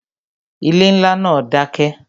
Ilé ńlá náà dákẹ́